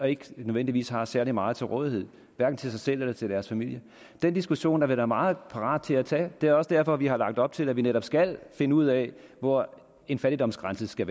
ikke nødvendigvis har særlig meget til rådighed hverken til sig selv eller til deres familie den diskussion er vi da meget parat til at tage det er også derfor at vi har lagt op til at vi netop skal finde ud af hvor en fattigdomsgrænse skal